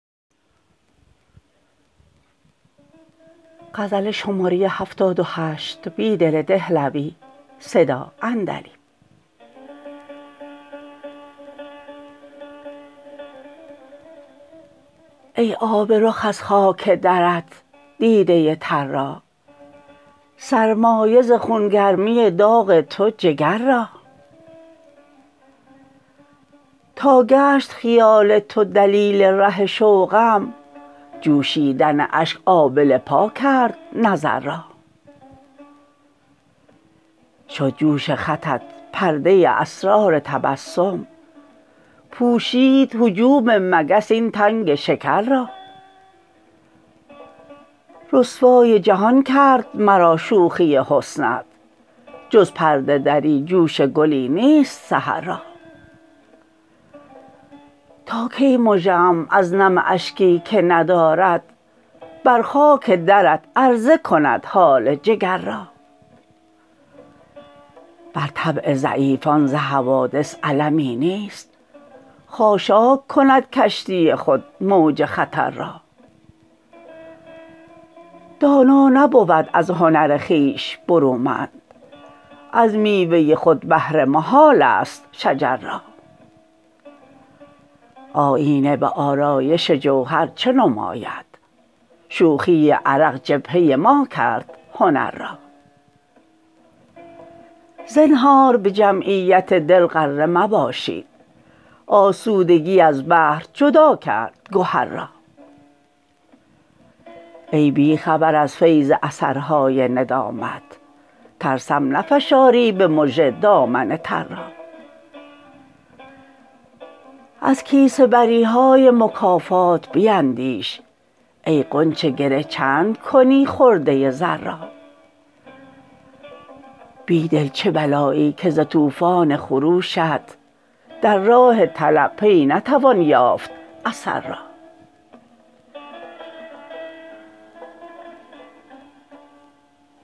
ای آب رخ از خاک درت دیده تر را سرمایه ز خون گرمی داغ تو جگر را تاگشت خیال تو دلیل ره شوقم جوشیدن اشک آبله پاکرد نظر را شد جوش خطت پردة اسرار تبسم پوشید هجوم مگس این تنگ شکر را رسوای جهانگرد مرا شوخی حسنت جز پرده دری جوش گلی نیست سحر را تاکی مژه ام از نم اشکی که ندارد بر خاک درت عرضه کند حال جگر را بر طبع ضعیفان ز حوادث المی نیست خاشاک کندکشتی خود موج خطر را دانا نبود از هنر خویش برومند از میوة خود بهره محال است شجر را آیینه به آرایش جوهر چه نماید شوخی عرق جبهه ماکرد هنر را زنهار به جمعیت دل غره مباشید آسودگی از بحر جداکردگهر را ای بی خبر از فیض اثرهای ندامت ترسم نفشاری به مژه دامن تر را ازکیسه بریهای مکافات بیندیش ای غنچه گره چندکنی خردة زر را بیدل چه بلایی که زتوفان خروشت در راه طلب پی نتوان یافت اثر را